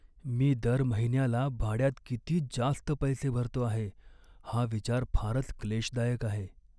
मी दर महिन्याला भाड्यात किती जास्त पैसे भरतो आहे हा विचार फारच क्लेशदायक आहे.